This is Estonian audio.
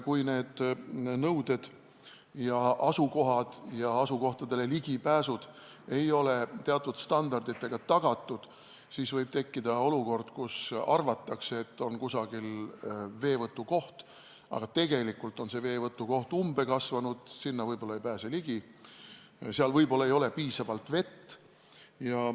Kui need asukohad ja asukohtadele ligipääsud ei ole teatud standarditega tagatud, siis võib tekkida olukord, kus arvatakse, et on kusagil veevõtukoht, aga tegelikult on umbe kasvanud, sinna võib-olla ei pääse ligi või seal ei ole piisavalt vett.